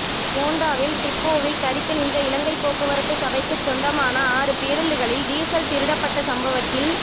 கோண்டாவில் டிப்போவில் தரித்து நின்ற இலங்கை போக்குவரத்து சபைக்குச் சொந்தமான ஆறு பேருந்துகளில் டீசல் திருடப்பட்ட சம்பவத்தில்